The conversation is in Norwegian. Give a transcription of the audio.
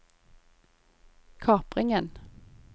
kapringen